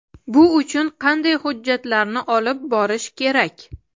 Bu uchun qanday hujjatlarni olib borish kerak?.